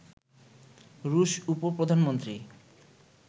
রুশ উপ-প্রধানমন্ত্রী